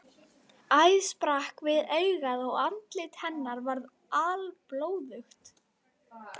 Æð sprakk við augað og andlit hennar var alblóðugt.